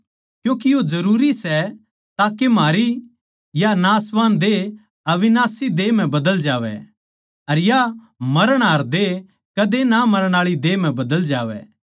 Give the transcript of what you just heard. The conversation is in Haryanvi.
क्यूँके यो जरूरी सै ताके म्हारी या नाशवान देह अविनाशी देह म्ह बदल जावै अर या मरणहार देह कदे ना मरण आळी देह म्ह बदल जावै